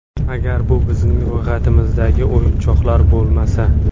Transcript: Agar bu bizning ro‘yxatimizdagi o‘yinchoqlar bo‘lmasa.